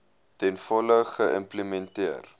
ten volle geïmplementeer